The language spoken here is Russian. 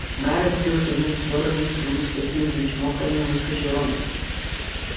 гарри успел шагнуть в сторону из трубы с таким же чмоканьем выскочил рон